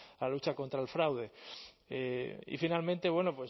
la lucha contra el fraude y finalmente bueno